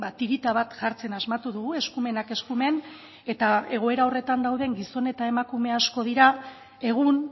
tirita bat jartzen asmatu dugu eskumenak eskumen eta egoera horretan dauden gizon eta emakume asko dira egun